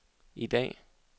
i dag